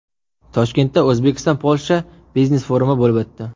Toshkentda O‘zbekiston–Polsha biznes forumi bo‘lib o‘tdi.